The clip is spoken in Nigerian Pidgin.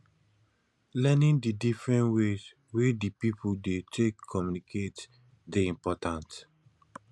learning di different ways wey di people dey take communicate dey important